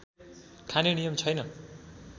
खाने नियम छैन